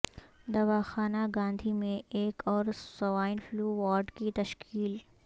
دواخانہ گاندھی میں ایک اور سوائن فلو وارڈ کی تشکیل